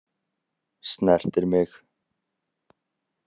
Snertir mig.